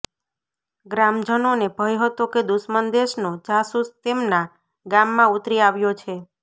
ગ્રામજનોને ભય હતો કે દુશ્મન દેશનો જાસૂસ તેમના ગામમાં ઊતરી આવ્યો છે